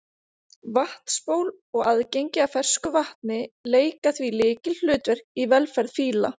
Vatnsból og aðgengi að fersku vatni leika því lykilhlutverk í velferð fíla.